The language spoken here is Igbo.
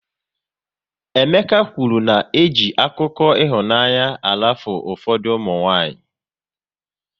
Emeka kwụrụ na eji akụkọ ịhụnanya arafu ụfọdụ ụmụnwanyị